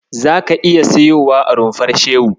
Zaka iya siyowa a Rumfar Shehu.